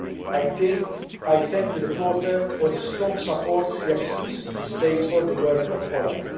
I thank the rapporteur for the strong support he explicitly states for the work of OLAF.